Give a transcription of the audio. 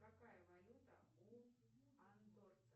какая валюта у андорцев